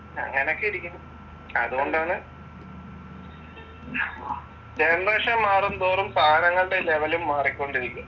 അങ്ങനൊക്കെ ഇരിക്കുന്നു. അതുകൊണ്ടാണ് ജനറേഷൻ മാറുംതോറും സാധനങ്ങളുടെ ലെവലും മാറിക്കൊണ്ടിരിക്കും.